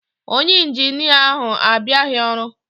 Onye Injinia ahu abịaghị ọrụ.